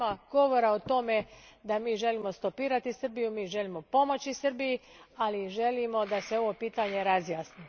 Nema govora o tome da mi želimo stopirati Srbiju, mi želimo pomoći Srbiji, ali i želimo da se ovo pitanje razjasni.